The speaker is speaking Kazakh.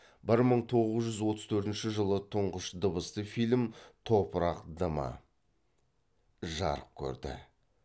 бір мың тоғыз жүз отыз төртінші жылы тұңғыш дыбысты фильм топырақ дымы жарық көрді